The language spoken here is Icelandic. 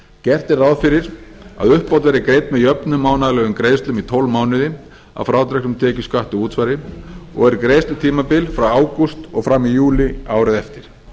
gert er ráð fyrir að uppbót verði greidd með jöfnum mánaðarlegum greiðslum í tólf mánuði að frádregnum tekjuskatti og útsvari og er greiðslutímabil frá ágúst og fram í júlí árið eftir